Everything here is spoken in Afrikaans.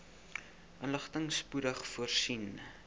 inligting spoedig voorsien